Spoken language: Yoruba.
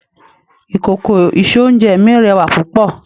Ìkòkò ìse-oúnjẹ mi rẹwà púpọ̀